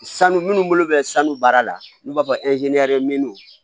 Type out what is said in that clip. Sanu minnu bolo bɛ sanu baara la n'u b'a fɔ